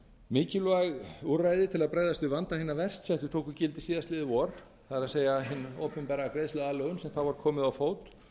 mikilvæg úrræði til að bregðast við vanda hinna verst settu tóku gildi síðastliðið vor það er hin opinbera greiðsluaðlögun sem þá var komið á fót